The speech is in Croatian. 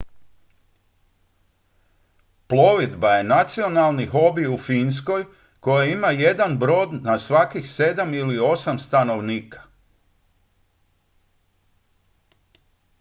plovidba je nacionalni hobi u finskoj koja ima jedan brod na svakih sedam ili osam stanovnika